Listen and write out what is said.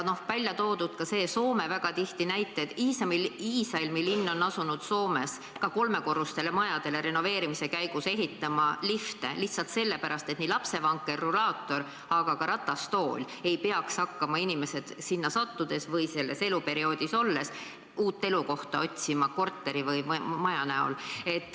Välja on toodud ka see Soome väga tihti toodud näide, et Iisalmi linn on asunud ka kolmekorruselistele majadele renoveerimise käigus ehitama lifte, lihtsalt lapsevankri, rulaatori, aga ka ratastooli jaoks, et inimesed ei peaks hakkama selles eluperioodis olles uut elukohta otsima.